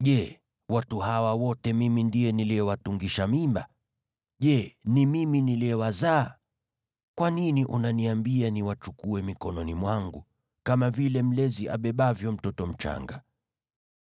Je, watu hawa wote mimi ndiye niliyewatungisha mimba? Je, ni mimi niliyewazaa? Kwa nini unaniambia niwachukue mikononi mwangu, kama vile mlezi abebavyo mtoto mchanga,